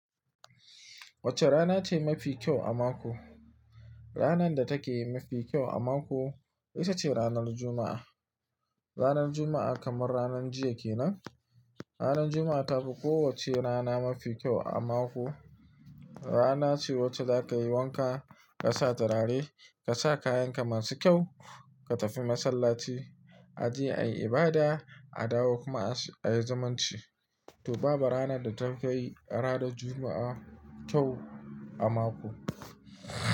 Wacce rana ce mafi kyau a mako? Ranar da take mafi kyau a mako ita ce ranar Juma'a. Ranar Juma'a kamar ranar jiya kenan. Ranar Juma'a ta fi kowacce rana mafi kyau a mako. Rana ce wacce za ka yi wanka, ka sa turare, ka sa kayanka masu kyau, ka tafi masallaci, a je a yi ibada, a dawo kuma a yi zumunci. To babu rana da ta fi ranar Juma'a kyau a mako.